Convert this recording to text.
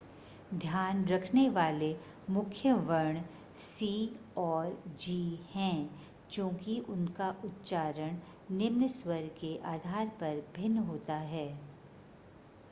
ध्यान रखने वाले मुख्य वर्ण c और g है चूंकि उनका उच्चारण निम्न स्वर के आधार पर भिन्न होता है